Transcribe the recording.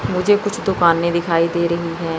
मुझे कुछ दुकान भी दिखाईं दे रही हैं।